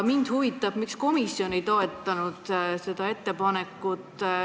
Mind huvitab, miks komisjon ei toetanud seda ettepanekut.